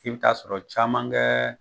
I bi t'a sɔrɔ caman kɛ